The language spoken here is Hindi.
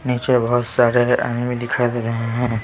नीचे बहुत सारे आदमी दिखाई दे रहे हैं।